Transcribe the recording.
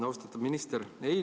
Austatud minister!